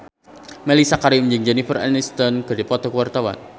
Mellisa Karim jeung Jennifer Aniston keur dipoto ku wartawan